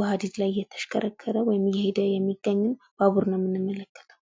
በሀዲድ ላይ እየተሽከረከረ ወይም እየሄደ የሚገኝን ባቡር ነው የምንመለከተው።